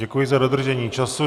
Děkuji za dodržení času.